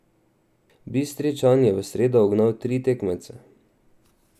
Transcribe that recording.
Bistričan je v sredo ugnal tri tekmece.